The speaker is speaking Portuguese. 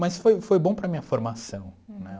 Mas foi foi bom para a minha formação, né?